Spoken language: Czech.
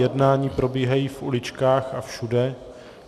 Jednání probíhají v uličkách a všude.